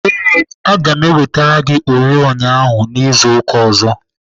Ee, aga m ewetere gị oriọna ahụ izu ụka ọzọ.